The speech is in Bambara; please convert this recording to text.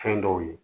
Fɛn dɔw ye